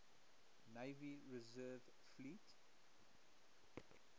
navy reserve fleet